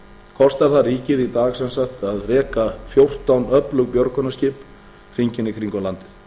kostar það ríkið í dag sem sagt að reka fjórtán öflug björgunarskip hringinn í kringum landið